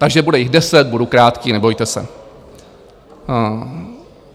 Takže bude jich deset, budu krátký, nebojte se.